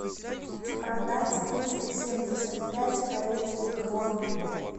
продать триста семьдесят пять корейских вон